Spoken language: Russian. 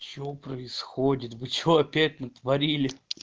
что происходит вы что опять натворили